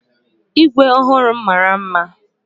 Igwe ọhụrụ m mara mma.